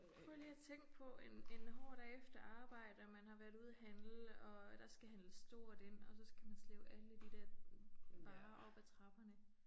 Prøv lige at tænke på en en hård dag efter arbejde og man har været ude at handle og der skal handles stort ind og så skal man slæbe alle de der varer op ad trapperne